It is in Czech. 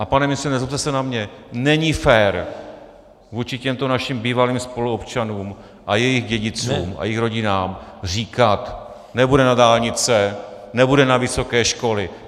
A pane ministře, nezlobte se na mě, není fér vůči těmto našim bývalým spoluobčanům a jejich dědicům a jejich rodinám říkat: nebude na dálnice, nebude na vysoké školy.